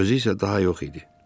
Özü isə daha yox idi.